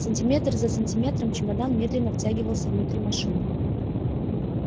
сантиметр за сантиметром чемодан медленно втягивался внутрь машины